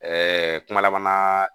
Ɛɛ kumala